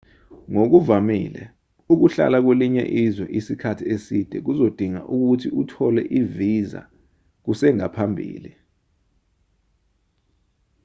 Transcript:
ngokuvamile ukuhlala kwelinye izwe isikhathi eside kuzodinga ukuthi uthole ivisa kusengaphambili